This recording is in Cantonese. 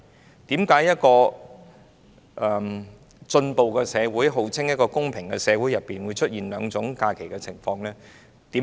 為甚麼一個進步並號稱公平的社會會出現兩種假期並存的情況？